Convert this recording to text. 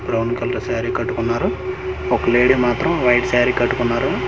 Brown colour sari కట్టుకున్నారు ఒక lady మాత్రం వైట్ సారీ కట్టుకున్నారు.